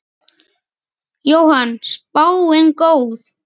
Jóhann: Spáin góð?